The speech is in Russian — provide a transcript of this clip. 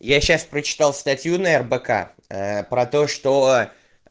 я сейчас прочитал статью на рбк про то что